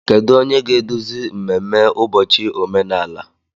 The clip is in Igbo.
Kedu onye ga-eduzi mmemme ụbọchị omenala?